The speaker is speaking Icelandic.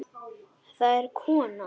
Það er kona.